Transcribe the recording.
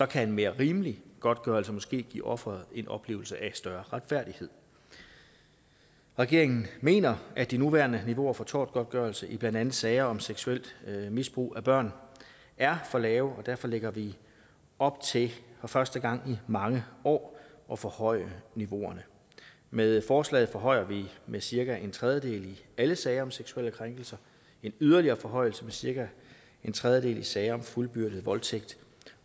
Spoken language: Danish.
kan en mere rimelig godtgørelse måske give offeret en oplevelse af større retfærdighed regeringen mener at de nuværende niveauer for tortgodtgørelse i blandt andet sager om seksuelt misbrug af børn er for lave og derfor lægger vi op til for første gang i mange år at forhøje niveauerne med forslaget forhøjer vi med cirka en tredjedel i alle sager om seksuelle krænkelser en yderligere forhøjelse med cirka en tredjedel i sager om fuldbyrdet voldtægt